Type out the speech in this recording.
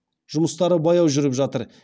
жұмыстары баяу жүріп жатыр